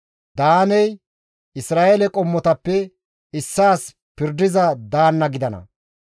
«Daaney Isra7eele qommotappe issaas pirdiza daanna gidana.